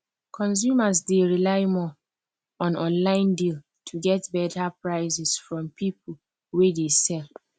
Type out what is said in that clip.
consumers dey rely more on online deal to get better prices from people wey dey sell